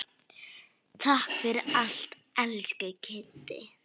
Takk fyrir allt, elsku Kiddi.